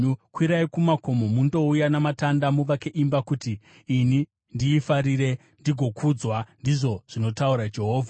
Kwirai kumakomo, mundouya namatanda muvake imba, kuti ini ndiifarire ndigokudzwa,” ndizvo zvinotaura Jehovha.